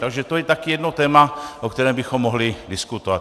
Takže to je také jedno téma, o kterém bychom mohli diskutovat.